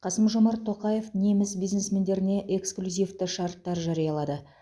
қасым жомарт тоқаев неміс бизнесмендеріне эксклюзивті шарттар жариялады